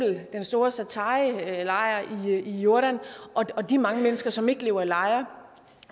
i den store zaatarilejr i jordan og de mange mennesker som ikke lever i lejre